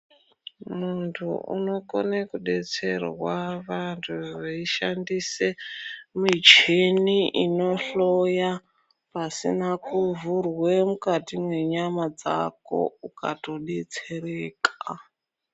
Munthu unokone kudetserwa vanthu veishandise mishini inohloya pasina kuvhurwe mukati mwenyama dzako ukatodetsereka.